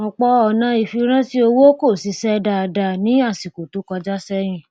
ọpọ ọnà ìfiránṣẹ owó kọ ṣiṣẹ dáadáa ní àsìkò tó kọjá sẹyìn